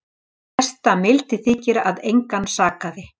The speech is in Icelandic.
Mesta mildi þykir að engan sakaði